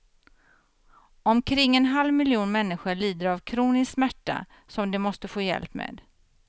Omkring en halv miljon människor lider av kronisk smärta som de måste få hjälp med.